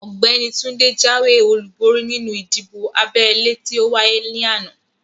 Ọ̀gbẹ́ni Túndé jáwé olúborí nínú ìdìbò abẹ́lé tí ówáyé ní àná